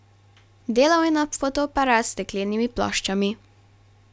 Delal je na fotoaparat s steklenimi ploščami.